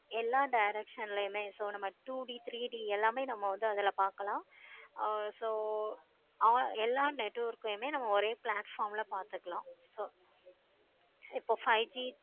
எல்லா directional ளையும் so நம்ம two D three D எல்லாமே நம்ம அதுல வந்து பார்க்கலாம். ஆஹ் so எல்லா network ளையும் நம்ம ஒரே platform ல பார்த்துக்கலாம். so இப்போ five G